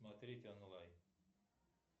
смотреть онлайн